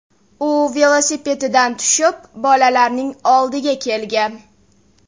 U velosipedidan tushib, bolalarning oldiga kelgan.